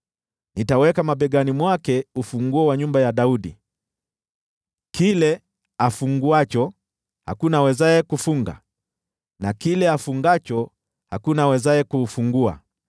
Nitaweka mabegani mwake ufunguo wa nyumba ya Daudi. Kile afunguacho hakuna awezaye kufunga, na kile afungacho hakuna awezaye kufungua.